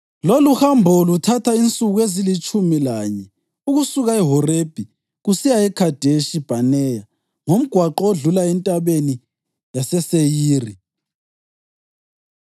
(Loluhambo luthatha insuku ezilitshumi lanye ukusuka eHorebhi kusiya eKhadeshi Bhaneya ngomgwaqo odlula eNtabeni yaseSeyiri.)